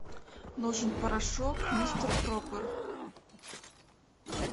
нужен порошок мистер пропер